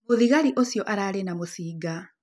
Mũthigari ũcio ararĩ na mũcinga.